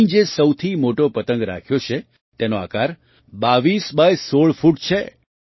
અહીં જે સૌથી મોટો પતંગ રાખ્યો છે તેનો આકાર ૨૨ એક્સ ગુણ્યાબાય૧૬ ફૂટ છે